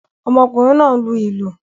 Ọmọkùnrin náà ń lu ìlù